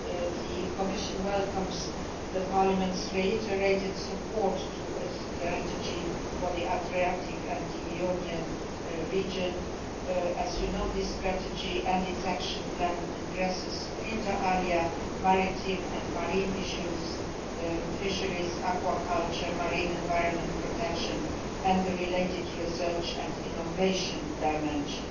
The Commission welcomes Parliament's reiterated support for a strategy for the Adriatic and Ionian region. As you know, this strategy and its action plan address, inter alia, maritime and marine issues, fisheries, aquaculture, marine environment protection and the related research and innovation dimension.